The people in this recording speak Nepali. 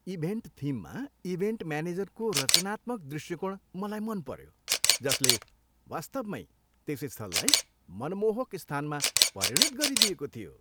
इभेन्ट थिममा इभेन्ट म्यानेजरको रचनात्मक दृष्टिकोण मलाई मन पऱ्यो, जसले वास्तवमै त्यस स्थललाई मनमोहक स्थानमा परिणत गरिदिएको थियो।